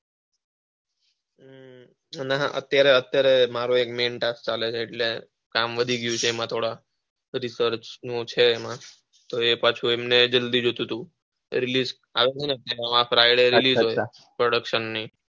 અત્યારે મારો main task ચાલે છે એટલે કામ વધી ગયું એમાં થોડા research નું છે એમાં પાછું એમને જલ્દી જોઈતું હતું. production ની,